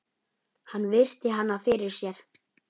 Hann virti hana fyrir sér.